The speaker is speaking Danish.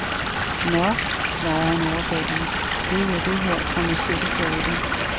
Nå, svarede han overbærende, det er jo det her kommercielle teater.